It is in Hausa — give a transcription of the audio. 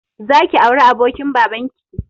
Zaki auri abokin babanki